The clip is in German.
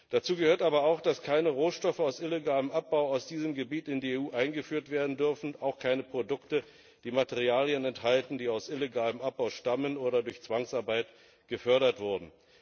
Dazu gehört aber auch, dass keine Rohstoffe aus illegalem Abbau aus diesem Gebiet in die EU eingeführt werden dürfen, auch keine Produkte, die Materialien enthalten, die aus illegalem Abbau stammen oder durch Zwangsarbeit gefördert wurden.